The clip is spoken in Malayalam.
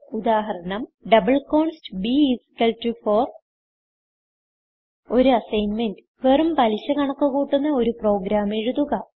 ഉദാഹരണം ഡബിൾ കോൺസ്റ്റ് b4 ഒരു അസ്സിഗ്ന്മെന്റ് വെറും പലിശ കണക്ക് കൂട്ടുന്ന ഒരു പ്രോഗ്രാം എഴുതുക